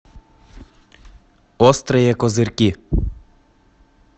острые козырьки